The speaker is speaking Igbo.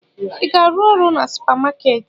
Ị ga-arụ ọrụ na supamakeeti?